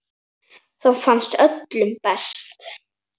Þá farnast öllum best.